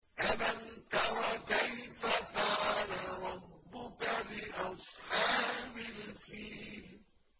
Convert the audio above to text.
أَلَمْ تَرَ كَيْفَ فَعَلَ رَبُّكَ بِأَصْحَابِ الْفِيلِ